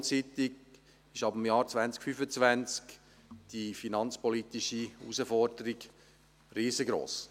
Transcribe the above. Ab dem Jahr 2025 ist die finanzpolitische Herausforderung vor allem investitionsseitig riesig.